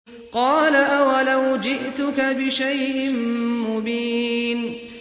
قَالَ أَوَلَوْ جِئْتُكَ بِشَيْءٍ مُّبِينٍ